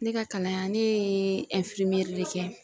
Ne ka kalan ne ye de kɛ.